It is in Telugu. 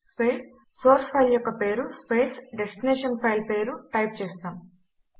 స్పేస్ సోర్స్ ఫైల్ యొక్క పేరు స్పేస్ డెస్టినేషన్ పైల్ పేరు టైప్ చేస్తాము